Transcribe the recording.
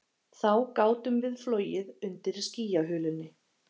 Þá gátum við flogið undir skýjahulunni